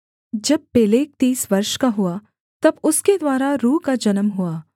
जब पेलेग तीस वर्ष का हुआ तब उसके द्वारा रू का जन्म हुआ